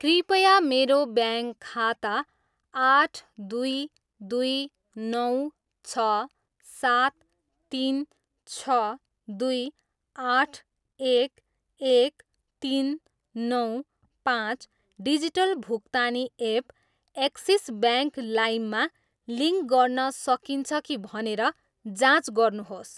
कृपया मेरो ब्याङ्क खाता आठ दुई दुई नौ छ सात तिन छ दुई आठ एक एक तिन नौ पाँच डिजिटल भुक्तानी एप एक्सिस ब्याङ्क लाइम मा लिङ्क गर्न सकिन्छ कि भनेर जाँच गर्नुहोस्?